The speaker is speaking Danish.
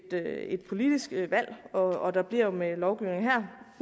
politisk valg og der bliver jo med lovgivningen her